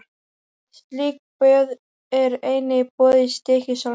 Slík böð eru einnig í boði í Stykkishólmi.